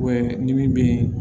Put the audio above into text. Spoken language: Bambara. ni min bɛ